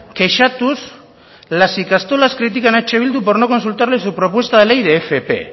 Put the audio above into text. kexatuz las ikastolas critican a eh bildu por no consultarles su propuesta de ley de fp